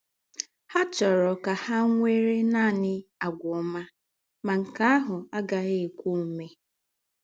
Há chọ́rọ̀ kà hà nwèrè nánị̀ àgwà ọ́mà, má nkè áhụ̀ agàghị̀ èkwé òmè.